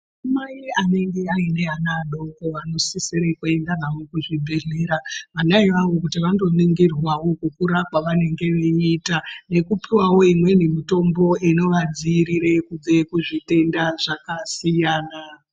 Anamai anenge aine ana adoko anosisire kuende nawo kuzvibhedhleya ana iwawo kuti vanoningirwawo kukura kwavanenge veiita nekupuwawo imweni mitombo inovadzivirire kubve kuzvitenda zvakasiyana.